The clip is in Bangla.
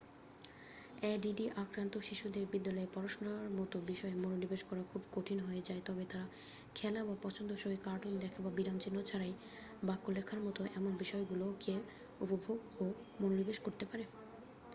এডিডি আক্রান্ত শিশুদের বিদ্যালয়ের পড়াশুনার মতো বিষয়ে মনোনিবেশ করা খুবই কঠিন হয়ে যায় তবে তারা খেলা বা পছন্দসই কার্টুন দেখা বা বিরামচিহ্ন ছাড়াই বাক্য লেখার মতো এমন বিষয়গুলিতে উপভোগ ও মনোনিবেশ করতে পারে